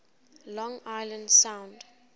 long island sound